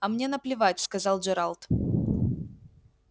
а мне наплевать сказал джералд